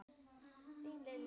Þín Lilja Björg.